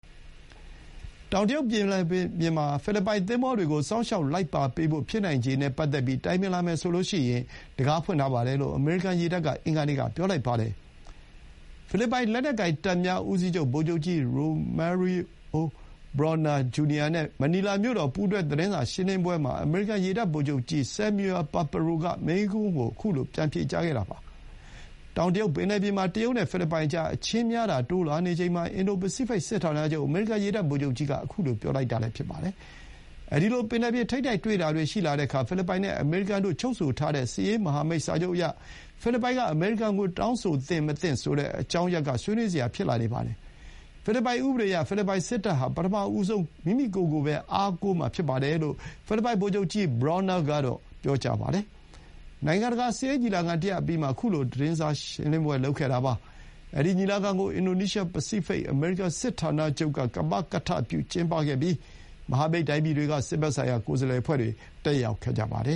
တောင်တရုတ်ပင်လယ်ပြင်မှာ ဖိလစ်ပိုင်သင်္ဘောတွေကို စောင့်ရှောက်လိုက်ပါပေးဖို့ ဖြစ်နိုင်ခြေနဲ့ ပတ်သက်ပြီးတိုင်ပင်လာမယ်ဆိုရင် တံခါးဖွင့်ထားပါတယ်လို့ အမေရိကန်ရေတပ်က အင်္ဂါနေ့က ပြောလိုက်ပါတယ်။ ဖိလစ်ပိုင်လက်နက်ကိုင်တပ်များဦးစီးချုပ် ဗိုလ်ချုပ်ကြီး Romeo Brawner Jr နဲ့ မနီလာမြို့တော်က ပူးတွဲသတင်းစာရှင်းလင်းပွဲမှာ အမေရိကန်ရေတပ်ဗိုလ်ချုပ်ကြီးက မေးခွန်းကို ခုလို ပြန်ဖြေကြားခဲ့တာ ဖြစ်ပါတယ်။ တောင်တရုတ်ပင်လယ်ပြင်မှာ တရုတ်နဲ့ဖိလစ်ပိုင်ကြား အချင်းများတာတိုးလာနေချိန်မှာ အင်ဒို ပစိဖိတ် စစ်ဌာနချုပ်အမေရိကန်ရေတပ် ဗိုလ်ချုပ်ကြီး Samuel Paparo က ခုလို ပြောလိုက်တာပါ။ အဲဒီလို ပင်လယ်ပြင် ထိပ်တိုက်တွေ့တာတွေရှိလာတဲ့အခါ ဖိလစ်ပိုင်နဲ့ အမေရိကန်တို့ ချုပ်ဆိုထားတဲ့ စစ်ရေးမဟာမိတ်စာချုပ်အရ ဖိလစ်ပိုင်က တောင်းဆိုသင့်မသင့် ဆိုတဲ့ အကြောင်းရပ်က ဆွေးနွေးစရာ ဖြစ်လာနေပါတယ်။ ဖိလစ်ပိုင်ဥပဒေအရ ဖိလစ်ပိုင်စစ်တပ်ဟာ ပထမဆုံးကိုယ့်ကိုယ်ကိုယ် အားကိုးရေး ဖြစ်ပါတယ်လို့ ဖိလစ်ပိုင်ဗိုလ်ချုပ်ကြီး Brawner ကတော့ ပြောပါတယ်။ နိုင်ငံတကာ စစ်ရေးညီလာခံတရပ်အပြီးမှာ ခုလို သတင်းစာရှင်းလင်းပွဲ လုပ်ခဲ့တာဖြစ်ပါတယ်။ အဲဒီ ညီလာခံကို အင်ဒို ပစိဖိတ် အမေရိကန်စစ်ဌာနချုပ်က ကမကထပြုကျင်းပခဲ့ပြီး မဟာမိတ် တိုင်းပြည်တွေက စစ်ဘက်ဆိုင်ရာ ကိုယ်စားလှယ်အဖွဲ့တွေ တက်ရောက်ခဲ့ကြပါတယ